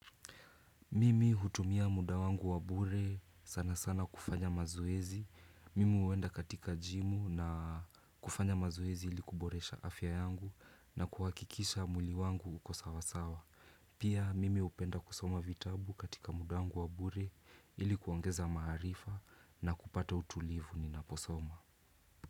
Mimi hutumia muda wangu wabure sana sana kufanya mazoezi. Mimi uwenda katika jimu na kufanya mazoezi ilikuboresha afya yangu na kuhakikisha mwili wangu uko sawasawa. Pia mimi hupenda kusoma vitabu katika muda wa bure ilikuongeza maarifa na kupata utulivu ninaposoma.